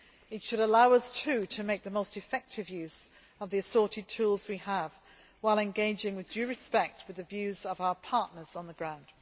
It should allow us, too, to make the most effective use of the assorted tools we have, while engaging with due respect with the views of our partners on the